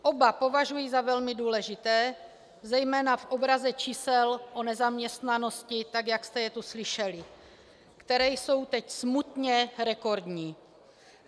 Oba považuji za velmi důležité, zejména v obraze čísel o nezaměstnanosti, tak jak jste je tu slyšeli, která jsou teď smutně rekordní.